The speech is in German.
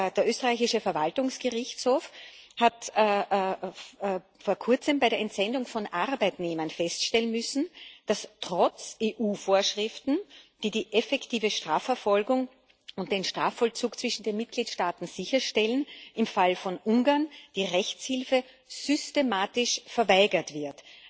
Der österreichische Verwaltungsgerichtshof hat vor Kurzem bei der Entsendung von Arbeitnehmern feststellen müssen, dass trotz EU Vorschriften, die die effektive Strafverfolgung und den Strafvollzug zwischen den Mitgliedstaaten sicherstellen, im Falle Ungarns, die Rechtshilfe systematisch verweigert wird.